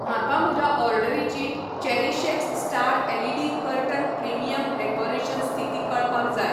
म्हाका म्हज्या ऑर्डरीची Cherishx star LED curtain premium decoration स्थिती कळपाक जाय